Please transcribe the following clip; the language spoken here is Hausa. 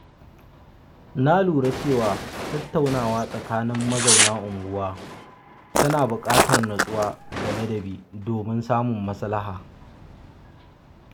Na lura cewa tattaunawa tsakanin mazauna unguwa tana buƙatar nutsuwa da ladabi domin samun maslaha.